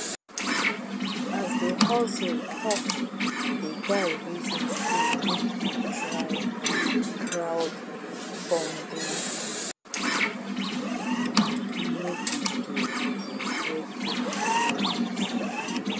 as the hustle tough the guy reason say make e try crowdfundingno be to dey beg people wey e know